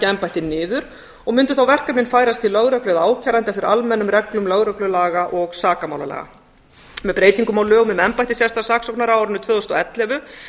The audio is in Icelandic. embættið niður og mundu verkefnin færast til lögreglu eða ákæranda fyrir almennum reglum lögreglulaga og sakamálalaga með breytingum á lögum um embætti sérstaks saksóknara á árinu tvö þúsund og ellefu